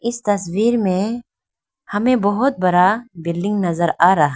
इस तस्वीर में हमें बहुत बड़ा बिल्डिंग नजर आ रहा--